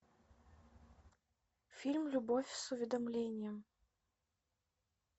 фильм любовь с уведомлением